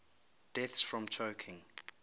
deaths from choking